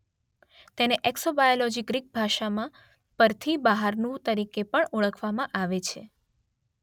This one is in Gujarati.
તેને એકસોબાયોલોજી ગ્રીક ભાષામાં પરથી બહારનું તરીકે પણ ઓળખવામાં આવે છે.